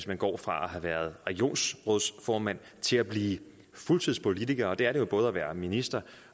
man går fra at have været regionsrådsformand til at blive fuldtidspolitiker og det er det jo både at være minister